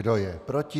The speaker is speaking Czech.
Kdo je proti?